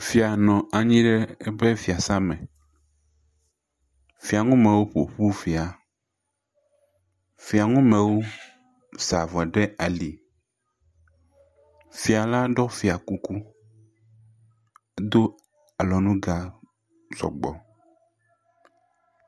Fia nɔ anyi ɖe eƒe fiasa me. Fianumewo ƒoƒu fia. Fianumewo sa avɔ ɖe ali. Fiala ɖɔ fiakuku do alɔnuga sɔgbɔ